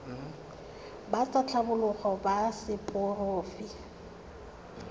ba tsa tlhago ba seporofe